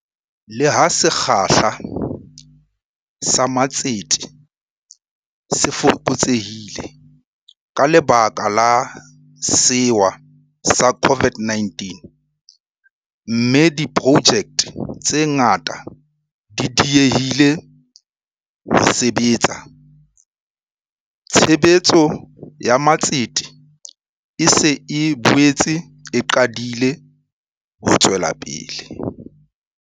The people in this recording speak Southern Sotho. Le ha sekgahla sa matsete se fokotsehile ka lebaka la sewa sa COVID-19, mme diprojekte tse ngata di diehile ho sebetsa, tshebetso ya matsete e se e boetse e qadile ho tswela pele.